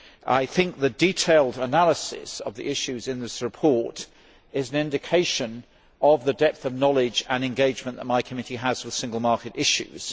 I think the detailed analysis of the issues in this report is an indication of the depth of knowledge and engagement that my committee has for single market issues.